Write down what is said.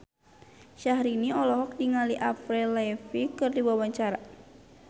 Syahrini olohok ningali Avril Lavigne keur diwawancara